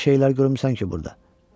Elə şeylər görmüsən ki, burda.